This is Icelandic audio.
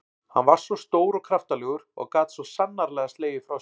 Hann var stór og kraftalegur og gat svo sannarlega slegið frá sér.